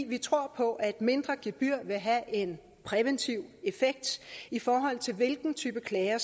vi tror på at et mindre gebyr vil have en præventiv effekt i forhold til hvilken type klager